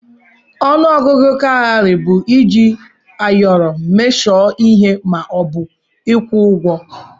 Ọnụ ọgụgụ kaụrị bụ iji ayọrọ emeshọ ihe ma ọ bụ ịkwụ ụgwọ.